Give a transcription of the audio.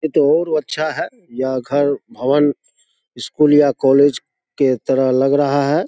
ये तो और अच्छा हैं। यह घर भवन इस स्कूल या कॉलेज के तरह लग रहा है।